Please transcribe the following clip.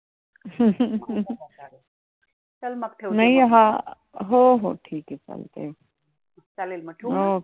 चालेल मग ठेऊ मग.